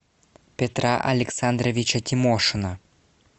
петра александровича тимошина